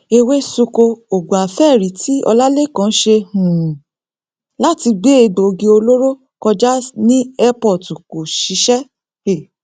èwe sunko oògùn àfẹẹrí tí ọlálékàn ṣe um láti gbé egbòogi olóró kọjá ní ẹ́pọọ̀tù kò ṣiṣẹ um